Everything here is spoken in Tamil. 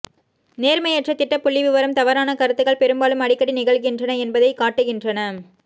நேர்மையற்ற திட்ட புள்ளிவிவரம் தவறான கருத்துகள் பெரும்பாலும் அடிக்கடி நிகழ்கின்றன என்பதை காட்டுகின்றன